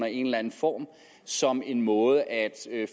i en eller anden form som en måde at